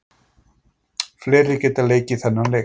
Fleiri geta leikið þennan leik.